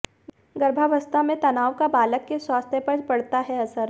गर्भावस्था में तनाव का बालक के स्वास्थ्य पर पड़ता है असर